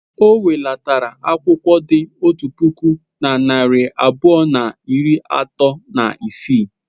O welatara akwụkwọ dị otu puku na narị abụọ na iri atọ na isii.